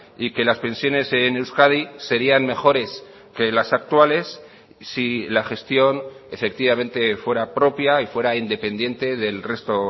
y que las pensiones en euskadi serían mejores que las actuales si la gestión efectivamente fuera propia y fuera independiente del resto